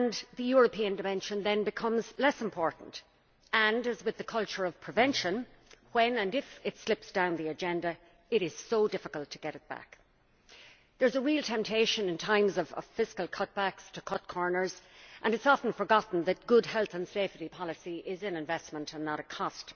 The European dimension then becomes less important and, as with the culture of prevention, if it slips down the agenda, it is difficult to get it back. There is a real temptation, in times of fiscal cutbacks, to cut corners and it is often forgotten that good health and safety policy is an investment and not a cost.